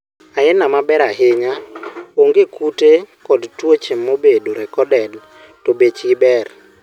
aina maber ahinya, onge kute kod tuoche mobedo recorded to bechgi ber